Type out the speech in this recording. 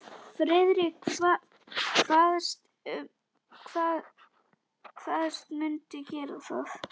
Friðrik kvaðst mundu gera það.